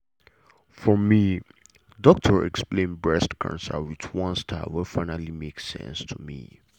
for me doctor explain breast cancer with one style wey finally make sense to me.